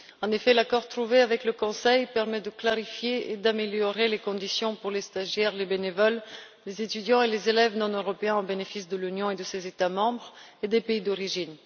En effet, l'accord trouvé avec le Conseil permet de clarifier et d'améliorer les conditions pour les stagiaires, les bénévoles, les étudiants et les élèves non européens au bénéfice de l'Union et de ses États membres, ainsi que des pays d'origine.